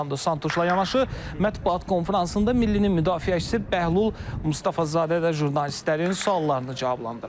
Fernando Santuşla yanaşı mətbuat konfransında millinin müdafiəçisi Bəhlul Mustafazadə də jurnalistlərin suallarını cavablandırıb.